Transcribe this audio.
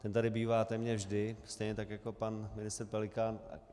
Ten tady bývá téměř vždy, stejně tak jako pan ministr Pelikán.